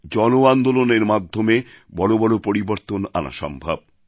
জন আন্দোলনের মাধ্যমে বড় বড় পরিবর্তন আনা সম্ভব